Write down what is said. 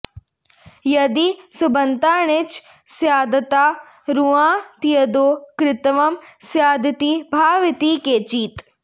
यदि सुबन्ताण्णिच् स्यात्तदा रुआजयतीत्यादौ कुत्वं स्यादिति भाव इति केचित्